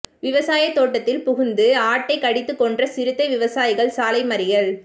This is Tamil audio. விவசாயத் தோட்டத்தில் புகுந்து ஆட்டைக் கடித்துக் கொன்ற சிறுத்தை விவசாயிகள் சாலை மறியல்